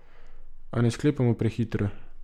A ne sklepajmo prehitro!